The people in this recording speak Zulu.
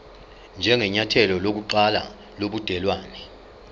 njengenyathelo lokuqala lobudelwane